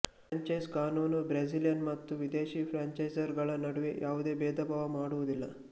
franchise ಕಾನೂನು Brazilian ಮತ್ತು ವಿದೇಶಿ ಫ್ರ್ಯಾಂಚೈಸರ್ ಗಳ ನಡುವೆ ಯಾವುದೇ ಭೇದ ಭಾವ ಮಾಡುವುದಿಲ್ಲ